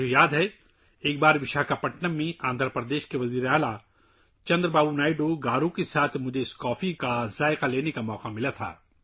مجھے یاد ہے کہ ایک بار مجھے وشاکھاپٹنم میں آندھرا پردیش کے وزیر اعلی چندرا بابو نائیڈو گارو کے ساتھ اس کافی کا مزہ چکھنے کا موقع ملا